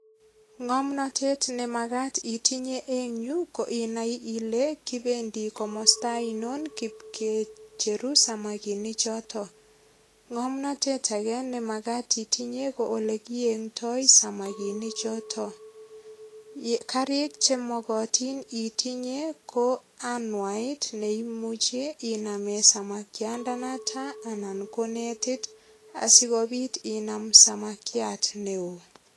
Ngomnatet nemagat itinye eng yu ko inai ile kipendi komosta ainon kipkicheru samakinik choto. Ngomnatet age ne magat itinye ko olekiengndoi samakinichoto. Karik che mogotin itinye ko anwaet neimuchi inamen samakiandanoto anan ko netit asigopit inam samakiat neo.